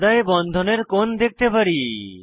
পর্দায় বন্ধনের কোণ দেখতে পারি